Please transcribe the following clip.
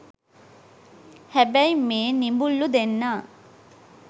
හැබැයි මේ නිබුල්ලු දෙන්නා